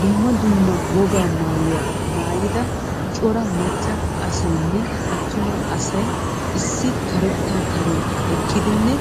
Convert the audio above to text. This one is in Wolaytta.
Dumma dumma wogaa maayuwa maayida cora macca asaynne attuma asay issi karettaa karen eqqidinne